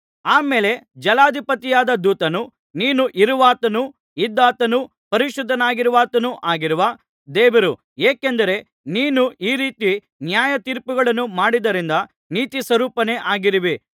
ಆ ಮೇಲೆ ಜಲಾಧಿಪತಿಯಾದ ದೂತನು ನೀನು ಇರುವಾತನೂ ಇದ್ದಾತನೂ ಪರಿಶುದ್ಧನಾಗಿರುವಾತನು ಆಗಿರುವ ದೇವರು ಏಕೆಂದರೆ ನೀನು ಈ ರೀತಿ ನ್ಯಾಯತೀರ್ಪುಗಳನ್ನು ಮಾಡಿದ್ದರಿಂದ ನೀತಿಸ್ವರೂಪನೇ ಆಗಿರುವಿ